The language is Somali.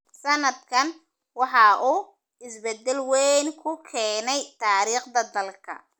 Sannadkan waxa uu isbedel weyn ku keenay taariikhda dalka.